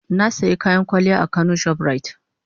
Na sayi kayan kwalliya a kano shoprite.